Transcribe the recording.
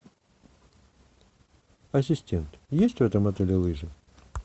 ассистент есть в этом отеле лыжи